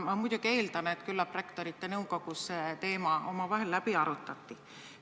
Ma muidugi eeldan, et küllap on Rektorite Nõukogus see teema omavahel läbi arutatud.